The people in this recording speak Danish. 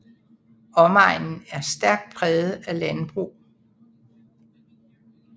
Omegnen er stærkt præget af landbrug